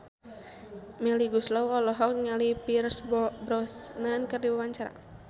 Melly Goeslaw olohok ningali Pierce Brosnan keur diwawancara